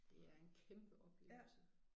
Det er en kæmpe oplevelse